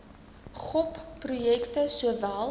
gop projekte sowel